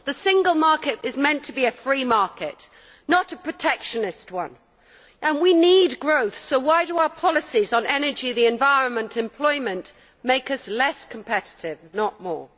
The single market is meant to be a free market, not a protectionist one. We need growth, so why do our policies on energy, the environment and employment make us less competitive, not more?